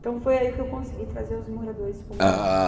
Então foi aí que eu consegui trazer os moradores para o meu lado.